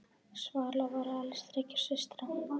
Svala var elst þriggja systra.